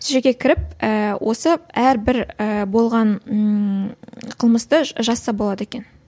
сол жерге кіріп ііі осы әрбір ііі болған ммм қылмысты жазса болады екен